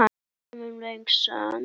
eftir Sölva Logason